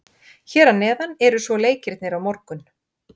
Hér að neðan eru svo leikirnir á morgun.